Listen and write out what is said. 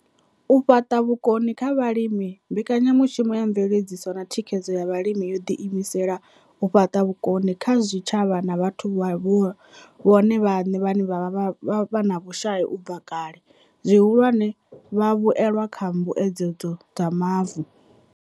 U fhaṱa vhukoni kha vhalimi Mbekanya mushumo ya Mveledziso na Thikhedzo ya Vhalimi yo ḓiimisela u fhaṱa vhukoni kha zwitshavha na vhathu vhone vhaṋe vhe vha vha vhe na vhushai u bva kale, zwihulwane, vhavhuelwa kha Mbuedzedzo dza Mavu.